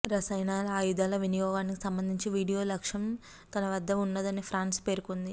రసాయన ఆయుధాల వినియోగానికి సంబంధించిన వీడియో సాక్ష్యం తనవద్ద వున్నదని ఫ్రాన్స్ పేర్కొంది